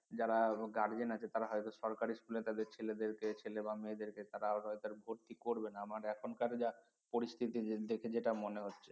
যারা guardian আছে তারা হয়তো সরকারি স্কুলে তাদের ছেলেদেরকে ছেলে বা মেয়েদের তারা হয়তো আর ভর্তি করবে না আমার এখনকার পরিস্থিতি দেখে যেটা মনে হচ্ছে